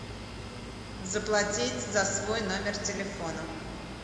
заплатить за свой номер телефона